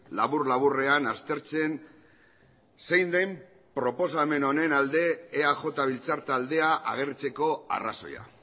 labur laburrean aztertzen zein den proposamen honen alde eaj biltzar taldea agertzeko arrazoia